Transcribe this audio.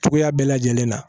Cogoya bɛɛ lajɛlen na